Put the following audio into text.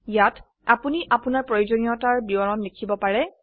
ইয়াত আপোনি আপোনাৰ প্ৰয়োজনীয়তাৰ বিবৰণ লিখিব পাৰে